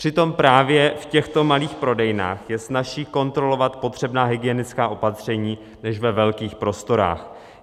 Přitom právě v těchto malých prodejnách je snazší kontrolovat potřebná hygienická opatření než ve velkých prostorách.